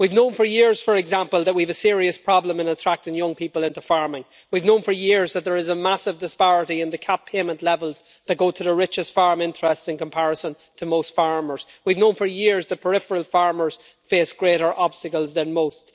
We have known for years, for example, that we have a serious problem in attracting young people into farming. We have known for years that there is a massive disparity in the CAP payment levels that go to the richest farm interests in comparison to most farmers, and we have also known for years that peripheral farmers face greater obstacles than most.